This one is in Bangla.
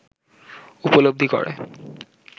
উপলব্ধি করে